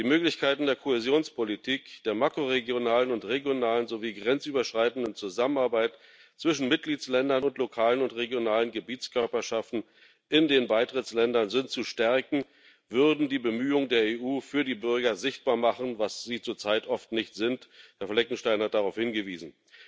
Die Möglichkeiten der Kohäsionspolitik, der makroregionalen und regionalen sowie grenzüberschreitenden Zusammenarbeit zwischen Mitgliedstaaten und lokalen und regionalen Gebietskörperschaften in den Beitrittsländern zu stärken, würden die Bemühungen der EU für die Bürger sichtbar machen, was sie zurzeit oft nicht sind Herr Fleckenstein hat darauf hingewiesen.